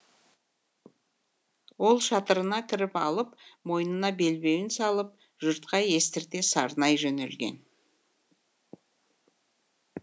ол шатырына кіріп алып мойнына белбеуін салып жұртқа естірте сарнай жөнелген